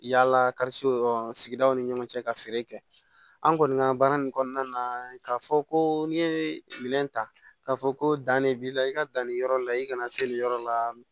Yala sigidaw ni ɲɔgɔn cɛ ka feere kɛ an kɔni ka baara nin kɔnɔna na k'a fɔ ko n'i ye minɛn ta k'a fɔ ko dannen b'i la i ka danni yɔrɔ la i kana se nin yɔrɔ la